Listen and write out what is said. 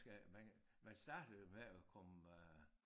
Skal man man starter jo med at komme øh